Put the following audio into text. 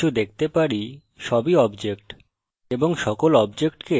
আমরা এই জগতে যা কিছু দেখতে পারি সবই objects